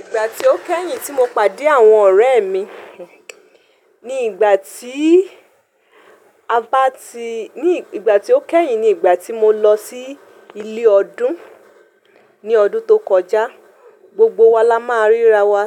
Ìgbà tí ó kẹ́yìn tí mo pàdé àwọn ọ̀rẹ́ mi. Ní ìgbà tí a bá ti-- ní ìgbà tí ó kẹ́yìn ni ìgbà tí mo lọ sí ilé ọdún ní ọdún tó kọjá, gbogbo wa la máa ń ríra wa,